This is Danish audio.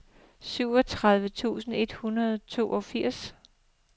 syvogtredive tusind et hundrede og toogfirs